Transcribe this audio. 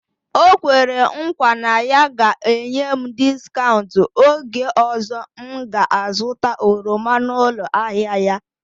O kwere nkwa na ya ga-enye m discaụnt oge ọzọ m ga azụta oroma n'ụlọ ahịa ya